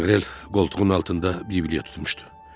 Maqrel qoltuğunun altında bibliya tutmuşdu.